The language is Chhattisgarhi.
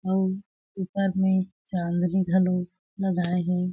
अउ ऊपर में चांदनी घलो लगाए हे।